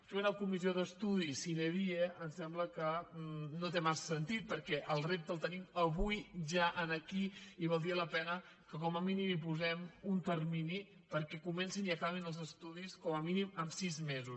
fer una comissió d’estudi sine die em sembla que no té massa sentit perquè el rep·te el tenim avui ja aquí i valdria la pena que com a mínim hi posem un termini perquè comencin i aca·bin els estudis com a mínim en sis mesos